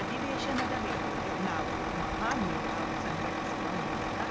ಅಧಿವೇಶನದ ವೇಳೆಯೇ ನಾವು ಮಹಾಮೇಳಾವ್‌ ಸಂಘಟಿಸುವ ಮೂಲಕ